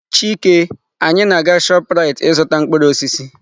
Chike, anyị na-aga Shoprite ịzụta mkpụrụ osisi.